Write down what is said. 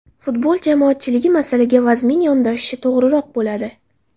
Futbol jamoatchiligi masalaga vazmin yondashishi to‘g‘riroq bo‘ladi.